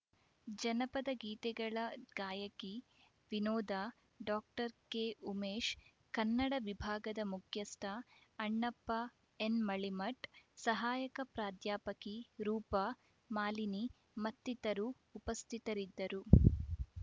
ಜನಪದ ಗೀತೆಗಳ ಗಾಯಕಿ ವಿನೋದ ಡಾಕ್ಟರ್ ಕೆಉಮೇಶ್‌ ಕನ್ನಡ ವಿಭಾಗದ ಮುಖ್ಯಸ್ಥ ಅಣ್ಣಪ್ಪ ಎನ್‌ ಮಳಿಮಠ್‌ ಸಹಾಯಕ ಪ್ರಾಧ್ಯಾಪಕಿ ರೂಪಾ ಮಾಲಿನಿ ಮತ್ತಿತರರು ಉಪಸ್ಥಿತರಿದ್ದರು